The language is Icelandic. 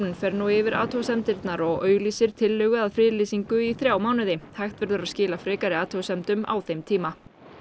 fer nú yfir athugasemdirnar og auglýsir tillögu að friðlýsingu í þrjá mánuði hægt verður að skila frekari athugasemdum á þeim tíma